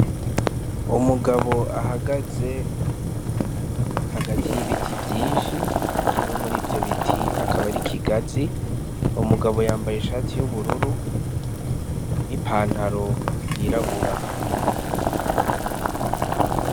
Umugabo ahagaze hagati y'ibiti vyinshi kimwe murivyo biti n'ikigazi umugabo yambaye ishati y'ubururu n'ipantaro yirabura